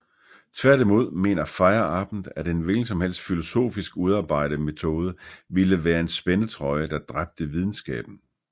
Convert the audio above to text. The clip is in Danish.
Tværtimod mener Feyerabend at en hvilken som helst filosofisk udarbejde metode ville være en spændetrøje der dræbte videnskaben